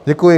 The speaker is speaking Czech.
Děkuji.